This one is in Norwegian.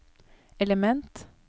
element